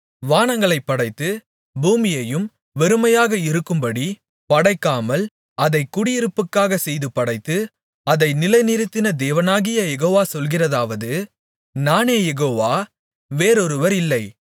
வானங்களைப் படைத்து பூமியையும் வெறுமையாக இருக்கும்படிப் படைக்காமல் அதைக் குடியிருப்புக்காகச் செய்து படைத்து அதை நிலைநிறுத்தின தேவனாகிய யெகோவா சொல்கிறதாவது நானே யெகோவா வேறொருவர் இல்லை